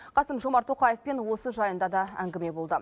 қасым жомарт тоқаевпен осы жайында да әңгіме болды